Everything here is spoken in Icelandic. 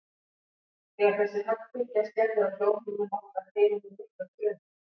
Þegar þessi höggbylgja skellur á hljóðhimnum okkar heyrum við miklar drunur.